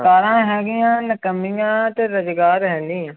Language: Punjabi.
ਸਰਕਾਰਾਂ ਹੈਗੀਆਂ ਨਿਕੰਮੀਆਂ ਤੇ ਰੁਜ਼ਗਾਰ ਹੈਨੀ ਹੈ।